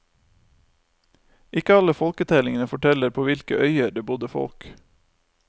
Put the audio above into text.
Ikke alle folketellingene forteller på hvilke øyer det bodde folk.